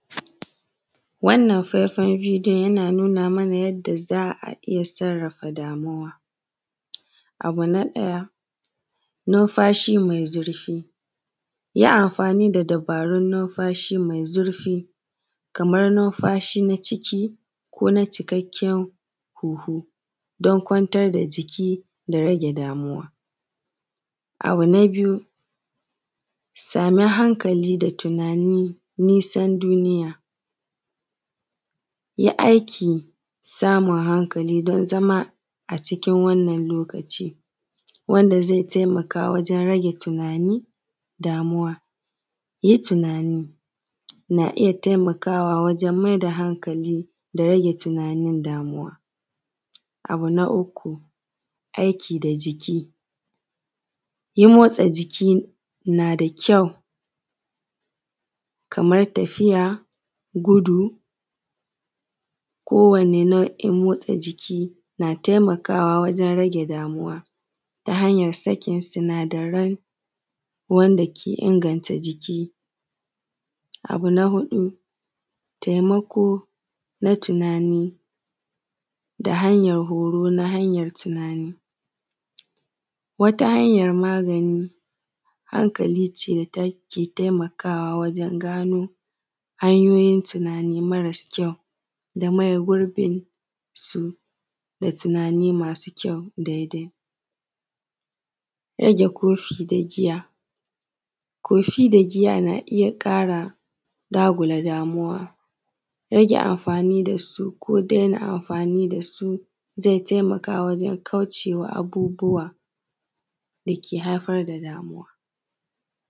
Wannan faifai bidiyon yana nuna mana yadda za a iya sarrafa damuwa, abu na ɗaya numfashi mai zurfi yi amfani da dubarun numfashi mai zurfi kamar numfashi na ciki ko na cikakkaen huhu don kwantar da jiki da rage damauwa. Abu na biyu same hankali da tunani nisan duniya yi aiki samun hankali don zama a cikin wannan lokaci wanda ze taimaka ze taimaka wajen rage tunani, damuwa, yi tunani na iya taimakawa wajen mai da hankali da rage tunanin damuwa. Abu na uku aiki da jiki, yi motsa jiki nada kyau kamar tafiya, gudu ko wani nau’in motsa jiki na taimakawa wajen rage damuwa ta hanyan sakin sinadaran wanda ke inganta jiki. Abu na huɗu taimako na tunani da hanyan horo na hanyan tunani, wata hanyan magani hankali ce take taimakawa wajen gano hanyoyin tunani marasa kyau da maye gurbin su da tunani masu kyau, da dai rage kofi da giya, kofi da giya na iya ƙara dagula damuwa, rage amfani da su ko dena amfani da su ze taimaka wajen kaucewa abubuwa dake haifar da damuwa.